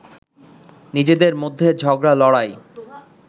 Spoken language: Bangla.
নিজেদের মধ্যে ঝগড়া-লড়াই